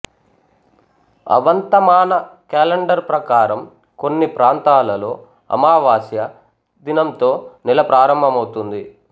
అవంత మాన కేలెండరు ప్రకరం కొన్ని ప్రాంతాలలో అమావాస్య దినంతో నెల ప్రారంభమవుతుంది